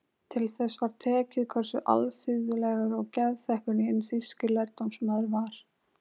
Til þess var tekið hversu alþýðlegur og geðþekkur hinn þýski lærdómsmaður var.